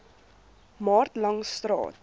maart langs st